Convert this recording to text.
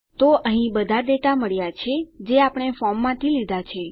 તો અહીં બધા ડેટા મળ્યા છે જે આપણે ફોર્મમાંથી લીધા છે